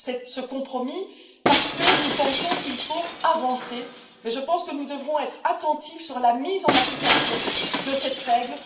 ce compromis, parce que nous pensons qu'il faut aller de l'avant, mais je pense que nous devrons être attentifs sur la mise en application de cette règle.